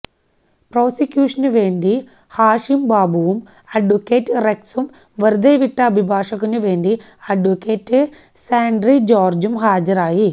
പ്രോസിക്യൂഷനുവേണ്ടി ഹാഷിം ബാബുവും അഡ്വ റെക്സും വെറുതെവിട്ട അഭിഭാഷകനു വേണ്ടി അഡ്വ സാന്ട്രി ജോര്ജും ഹാജരായി